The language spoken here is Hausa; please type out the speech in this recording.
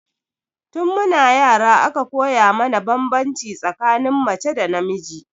Tun mu na yara aka koya mana banbanci tsakanin mace da namiji